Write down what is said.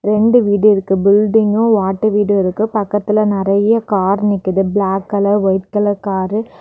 ரெண்டு வீடு இருக்கு பில்டிங்கு ஓட்டெ வீடு இருக்கு பக்கத்துல நெறைய கார் நிக்குது black colour white colour car .